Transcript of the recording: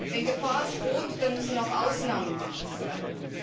Wenn Gefahr droht, müssen auch Ausnahmen möglich sein.